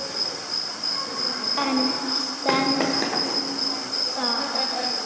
En stenst það?